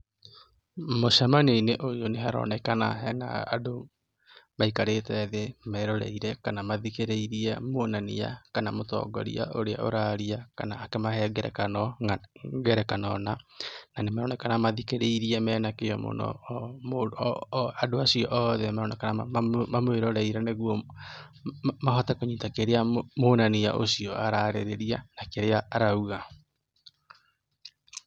Mũcemanio-inĩ ũyũ nĩ haronekana he na andũ maikarĩte thĩ meroreire kana mathikĩrĩirie muonania kana mũtongoria ũrĩa ũrariana, akĩmahe ngerekano na. Na maroneka mathikĩrĩirie mena kĩo mũno. Andũ acio othe maroneka mamwĩroreire nĩguo mahote kũnyita kĩrĩa muonania ũcio ararĩrĩria na kĩrĩa arauga.